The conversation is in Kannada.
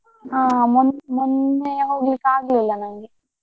ಹಾ ಮೊ~ ಮೊನ್ನೆ ಹೋಗ್ಲಿಕ್ಕೆ ಆಗ್ಲಿಲ್ಲ ನಂಗೆ.